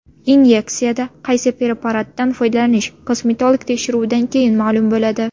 Inyeksiyada qaysi preparatdan foydalanish, kosmetolog tekshiruvidan keyin ma’lum bo‘ladi.